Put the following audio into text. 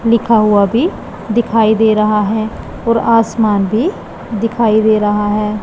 लिखा हुआ भी दिखाई दे रहा है और आसमान भी दिखाई दे रहा है।